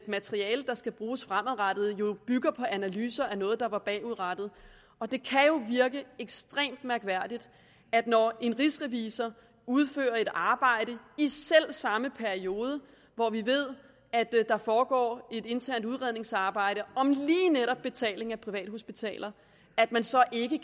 materiale der skal bruges fremadrettet jo bygger på analyser af noget der er bagudrettet det kan jo virke ekstremt mærkværdigt når en rigsrevisor udfører et arbejde i selv samme periode hvor vi ved at der foregår et internt udredningsarbejde om lige netop betaling af privathospitaler at man så ikke